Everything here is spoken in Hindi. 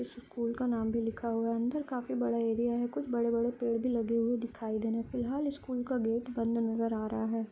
इस स्कूल का नाम भी लिखा हुआ है अंदर काफी बड़ा एरिया है कुछ बड़े-बड़े पेड़ भी लगे हुए दिखाई देने फिलहाल स्कूल का गेट बंद नज़र आ रहा है।